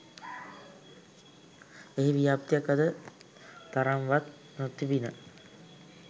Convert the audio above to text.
එහි ව්‍යාප්තියක් අද තරම්වත් නොතිබිණ